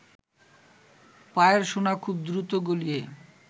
পায়ের সোনা খুব দ্রুত গলিয়ে